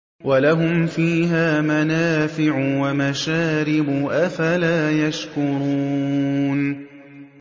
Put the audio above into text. وَلَهُمْ فِيهَا مَنَافِعُ وَمَشَارِبُ ۖ أَفَلَا يَشْكُرُونَ